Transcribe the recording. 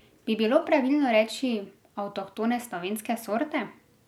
Bi bilo pravilno reči avtohtone slovenske sorte?